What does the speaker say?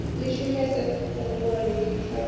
ḽi shumise fhungoni ḽi pfalaho